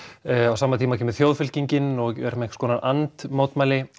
á sama tíma kemur Þjóðfylkingin og er með einhvers konar and mótmæli